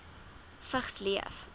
vigs leef